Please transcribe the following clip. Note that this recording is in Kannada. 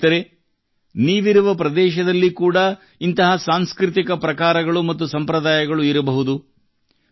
ಸ್ನೇಹಿತರೇ ನೀವಿರುವ ಪ್ರದೇಶದಲ್ಲಿ ಕೂಡಾ ಇಂತಹ ಸಾಂಸ್ಕೃತಿಕ ಪ್ರಕಾರಗಳು ಮತ್ತು ಸಂಪ್ರದಾಯಗಳು ಇರಬಹುದು